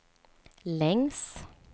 längs